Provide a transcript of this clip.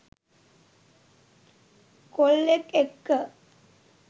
කොල්ලෙක් එක්ක.